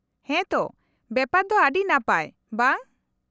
-ᱦᱮᱸ ᱛᱚ! ᱵᱮᱯᱟᱨ ᱫᱚ ᱟᱹᱰᱤ ᱱᱟᱯᱟᱭ ᱵᱟᱝ ?